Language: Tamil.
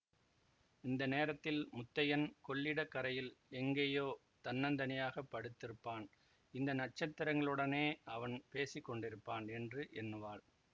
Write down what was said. இந்த நேரத்தில் முத்தையன் கொள்ளிடக் கரையில் எங்கேயோ தன்னந் தனியாய்ப் படுத்திருப்பான் இந்த நட்சத்திரங்களுடனே அவன் பேசி கொண்டிருப்பான் என்று எண்ணுவாள்